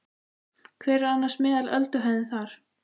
Hver er annars meðal ölduhæðin þar?